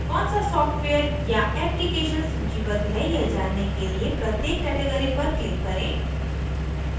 कौन सा सॉफ्टवेयर या एप्लीकेशन सूचीबद्ध है यह जानने के लिए प्रत्येक category पर click करें